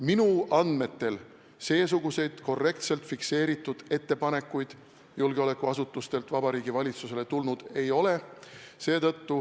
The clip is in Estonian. Minu andmetel seesuguseid korrektselt fikseeritud ettepanekuid julgeolekuasutustelt Vabariigi Valitsusele tulnud ei ole.